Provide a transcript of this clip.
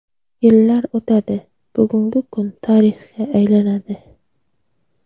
Yillar o‘tadi, bugungi kun tarixga aylanadi.